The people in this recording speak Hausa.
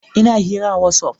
Ina hira a Whatsaf